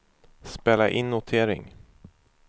spela in notering